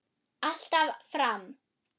Alltaf fram.